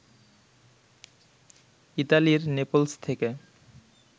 ইতালির নেপলস থেকে